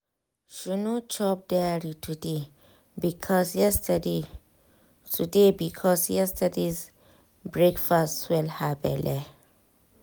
she no chop dairy today because yesterday today because yesterday breakfast swell her belle.